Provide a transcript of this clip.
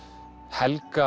helga